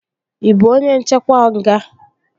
Ị bụ onye nchekwa nga?